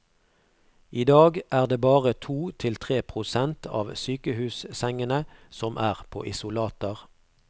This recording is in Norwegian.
I dag er det bare to til tre prosent av sykehussengene som er på isolater.